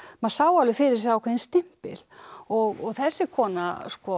maður sá alveg fyrir sér ákveðinn stimpil og þessi kona